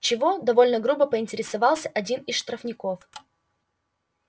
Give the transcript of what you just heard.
чего довольно грубо поинтересовался один из штрафников